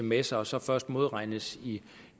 med sig og så først modregnes